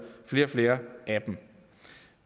flere og flere af dem